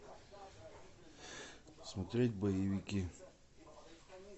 смотреть боевики